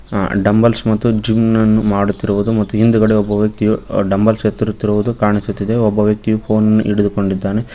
Dumbbells ಮತ್ತು ಜುಮ್ನನ್ನು ಮಾಡುತ್ತಿರುವುದು ಮತ್ತು ಹಿಂದುಗಡೆ ಒಬ್ಬ ವ್ಯಕ್ತಿಯು ಡಂಬಲ್ಸ್ ಎತ್ತುತ್ತಿರುವುದು ಕಾಣಿಸುತ್ತಿದೆ ಮತ್ತೆ ಒಬ್ಬ ವ್ಯಕ್ತಿ ಫೋನ ನ್ನು ಹಿಡಿದುಕೊಂಡಿದ್ದಾನೆ.